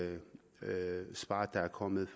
svar der er kommet